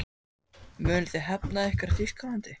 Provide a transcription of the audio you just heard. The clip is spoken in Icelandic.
Munuð þið hefna ykkar í Þýskalandi?